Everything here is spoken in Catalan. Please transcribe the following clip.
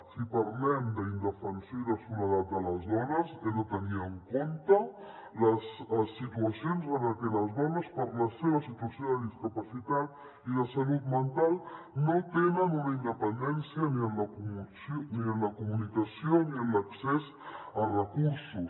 si parlem d’indefensió i de soledat de les dones hem de tenir en compte les situacions en les que les dones per la seva situació de discapacitat i de salut mental no tenen una independència ni en la comunicació ni en l’accés a recursos